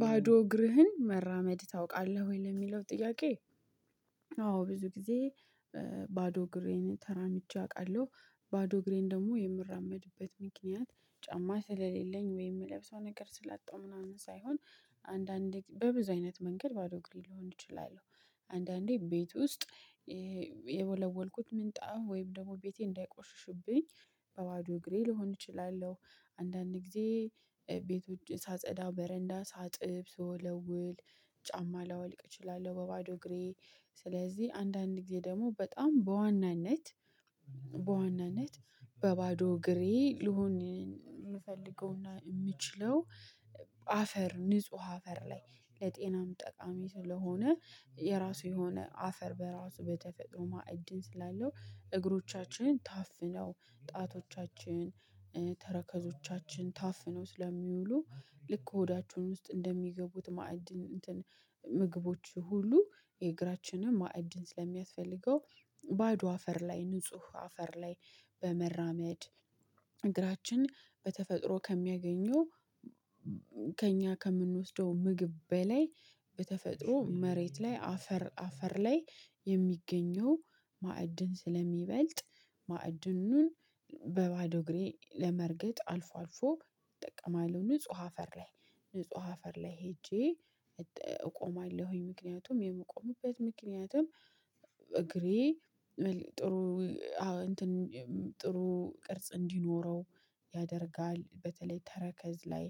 ባዶ እግርህን መራመድ ታውቃለህ ወይ ለሚለው ጥያቄ? አዎ ብዙ ጊዜ። ባዶ እግሬን ተራምጄ አውቃለሁ። ባዶ እግሬን ደግሞ የምራመድበት ምክንያት ጫማ ስለሌለኝ ወይ የምለብሰው ነገር ስላጣው ምናምን ሳይሆን አንዳንዴ በብዙ አይነት መንገድ ባዶ እግሬን ልሆን ይችላል። አንዳንዴ ቤት ውስጥ የወለወልኩት ምንጣፍ ወይም ደግሞ ቤቴ እንዳይቆሽሹብኝ በባዶ እግሬ ልሆን እችላለሁ። አንዳንድ ጊዜ ቤቶች ሳጸዳ በረንዳ ሳጥብ ስወለውል ጫማ ላወልቅ እችላለሁ በባዶ እግሬ። ስለዚህ አንዳንድ ጊዜ ደግሞ በጣም በዋናነት በዋናነት በባዶ እግሬ ልሆን። የምፈልገውና የምትችለው አፈር ንጹህ አፈር ላይ ለጤናም ጠቃሚ ስለሆነ የራሱ የሆነ አፈር በራሱ በተፈጥሮ ማዕድን ስላለው እግሮቻችን ታፍነው ጣቶቻችን ተረከዞቻችን ታፍኖት ስለሚውሉ። ልክ ከሆዳቸውን ውስጥ እንደሚገቡት ማዕድን እንትን ምግቦች ሁሉ የእግራችንን ማዕድን ስለሚያስፈልገው። ባዶ አፈር ላይ ንጹህ አፈር ላይ በመራመድ እግራችን በተፈጥሮ ከሚያገኘው። ከእኛ ከምንወስደው ምግብ በላይ በተፈጥሮ መሬት ላይ አፈር አፈር ላይ የሚገኘው ማዕድን ስለሚበልጥ። ማዕድኑን እግሬ ለመርገጥ አልፎ አልፎ እጠቀማለሁ ንጹህ አፈር ላይ። ንጹህ አፈር ላይ ሄጄ እቆማለሁኝ። ምክንያቱም የምቆምበት ምክንያትም እግሬ እንትን ጥሩ ቅርጽ እንዲኖረው ያደርጋል በተለይ ተረከዝ ላይ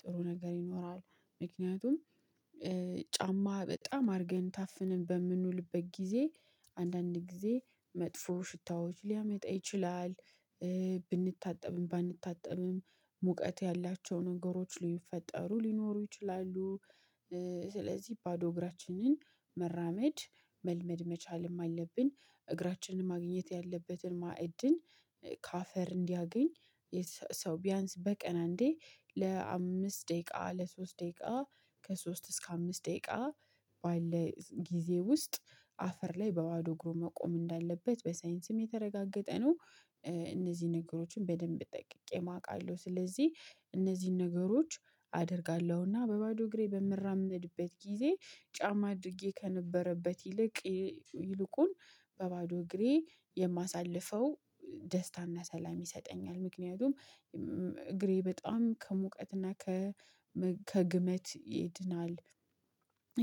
ጥሩ ነገር ይኖራል። ምክንያቱም ጫማ በጣም አድርገን ታፍነን በምንውልበት ጊዜ አንዳንድ ጊዜ መጥፎ ሽታዎች ሊያመጣ ይችላል። ባንታጠብም ሙቀት ያላቸው ነገሮች ሊፈጠሩ ሊኖሩ ይችላሉ። ስለዚህ ባዶ እግራችንን መራመድ መልመድ መቻልም አለብን። እግራችን ማግኘት ያለበትን ማዕድን ከአፈር እንዲያገኝ የ ሰው ቢያንስ በቀን አንዴ ለአምስት ደቂቃ ለሶስት ደቂቃ ከሶስት እስከ አምስት ደቂቃ ባለ ጊዜ ውስጥ አፈር ላይ በባዶ እግሩ መቆም እንዳለበት በሳይንስም የተረጋገጠ ነው። እነዚህ ነገሮችን በደንብ ጠቅቄም አውቃለሁ ስለዚህ እነዚህን ነገሮች አደርጋለሁና በባዶ እግሬ በምራመድበት ጊዜ ጫማ አድርጌ ከነበረበት ይልቅ ይልቁን በባዶ እግሬ የማሳልፈው ደስታና ሰላም ይሰጠኛል። ምክንያቱም እግሬ በጣም ከሙቀትና ከግመት ይድናል።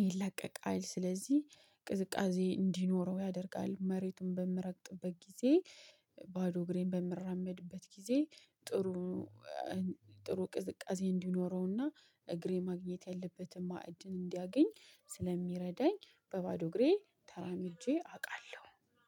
ይላቀቃል ስለዚህ ቅዝቃዜ እንዲኖረው ያደርጋል መሬቱን በምረግጥበት ጊዜ ባዶ እግሬን በምራመድበት ጊዜ። ጥሩ ጥሩ ቅዝቃዜ እንዲኖረውና እግሬ ማግኘት ያለበትን መእድል እንዲያገኝ ስለሚረዳኝ በባዶ እግሬ ተራምጄ አውቃለሁ